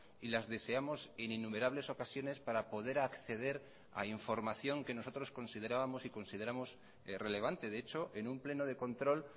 y las deseamos en innumerables ocasiones para poder acceder a información que nosotros considerábamos y consideramos relevante de hecho en un pleno de control